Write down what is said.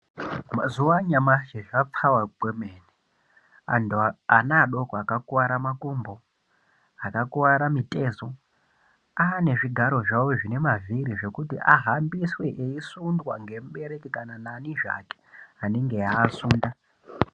Mazuva anyamashi zvapfawa kwemene antu anaadoko akakuwa makumbo akakuwara mitezo anezvigaro zvavo zvine mavhiri zvekuti ahambiswe aisundwa nemubereki kana neadiki ake anenge eiasunda.